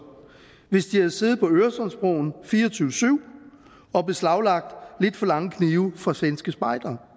hvis de havde siddet på øresundsbroen fire og tyve syv og beslaglagt lidt for lange knive fra svenske spejdere